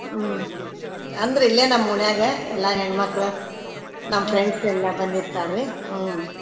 ಹ್ಮ್ ಅಂದ್ರ ಇಲ್ಲೇ ನಮ್ ಓಣ್ಯಾಗ ಎಲ್ಲಾ ಹೆಣ್ ಮಕ್ಳ ನಮ್ friends ಎಲ್ಲಾ ಬಂದಿರ್ತಾರ್ರಿ ಹ್ಞೂನ್ರಿ.